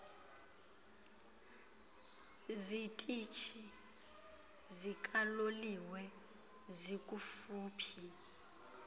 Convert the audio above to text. zitishi zikaloliwe zikufuphi